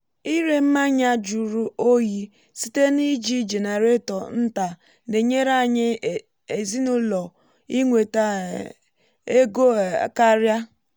ịre mmanya jụrụ oyi site na iji jenareto nta na-enyere anyị ezinụlọ inweta um ego um karịa